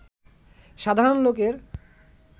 সাধারণ লোকের